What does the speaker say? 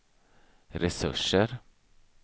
resurser